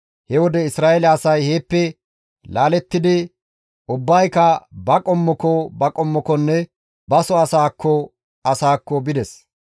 He wode Isra7eele asay heeppe laalettidi ubbayka ba qommoko qommokonne baso asaakko asaakko bides.